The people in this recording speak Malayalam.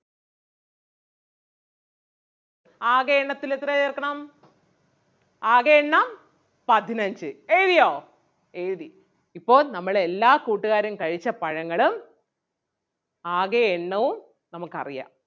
ആകെ എണ്ണത്തിൽ എത്ര ചേർക്കണം ആകെ എണ്ണം പതിനഞ്ച് എഴുതിയോ എഴുതി അപ്പൊ നമ്മൾ എല്ലാ കൂട്ടുകാരും കഴിച്ച പഴങ്ങളും ആകെ എണ്ണവും നമുക്ക് അറിയാം.